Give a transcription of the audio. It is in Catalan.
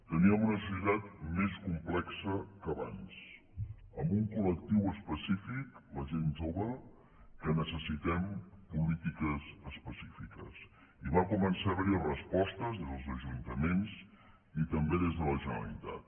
teníem una societat més complexa que abans amb un col·lectiu específic la gent jove que necessitem polítiques específiques i van començar a haver hi respostes des dels ajuntaments i també des de la generalitat